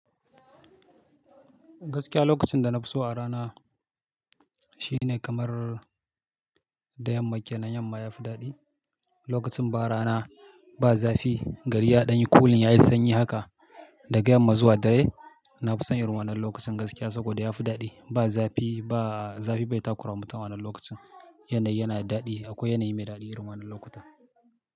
Gaskiya lokacin da na fi so a rana shine kamar da yammake nan yamma ya fi daɗi. Lokacin ba rana ba zafi, gari ya ɗan yi cooling, ya yi sanyi haka daga yamma zuwa dare. Na fi son yin ruwanan lokacin gaskiya saboda ya fi daɗi. Ba zafi, ba zafi bai takura mutum wannan lokacin. Yanayi yana daɗi, akwai yanayi mai daɗi yin ruwanan lokutan.